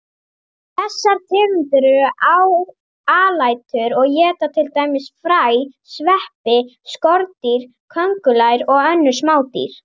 Þessar tegundir eru alætur og éta til dæmis fræ, sveppi, skordýr, kóngulær og önnur smádýr.